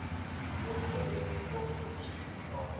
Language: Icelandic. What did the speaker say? Lokaður inni í þvottahúsi í ár